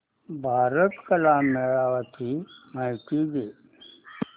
भारत कला मेळावा ची माहिती दे